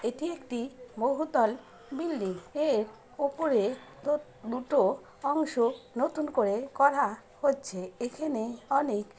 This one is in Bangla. এটি একটি বহুতল বিল্ডিং এর ওপরে ডট দুটো অংশ নতুন করে করা হচ্ছে এখানে অনেক--